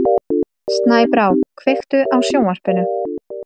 Snæbrá, kveiktu á sjónvarpinu.